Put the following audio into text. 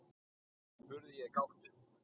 spurði ég gáttuð.